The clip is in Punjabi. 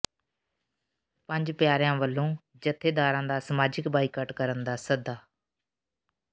ਪੰਜ ਪਿਆਰਿਆਂ ਵਲੋਂ ਜਥੇਦਾਰਾਂ ਦਾ ਸਮਾਜਿਕ ਬਾਈਕਾਟ ਕਰਨ ਦਾ ਸੱਦਾ